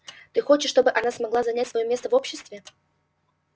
ты хочешь чтобы она смогла занять своё место в обществе